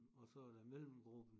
Og så er der mellemgruppen